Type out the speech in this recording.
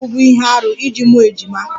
Ọ na-abụbu ihe arụ iji mụọ ejima